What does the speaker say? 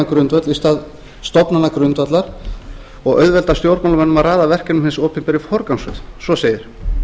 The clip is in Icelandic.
verkefnagrundvöll í stað stofnanagrundvallar og auðvelda stjórnmálamönnum að raða verkefnum hins opinbera í forgangsröð svo segir